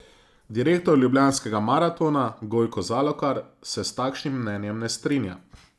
Direktor Ljubljanskega maratona Gojko Zalokar se s takšnim mnenjem ne strinja.